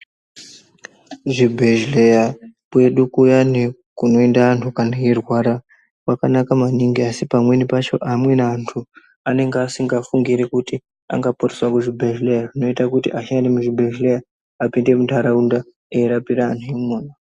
Kuzvibhedhlerya kwedu kuyani kunoenda vantu kana eirwara kwakanaka maningi. Asi pamweni pacho amweni antu anenge asingafungiri kuti anga poreswa kuzvibhedhleya zvinota kuti ashandi emuzvibhedhleya apinde muntaraunda arapire antu imona.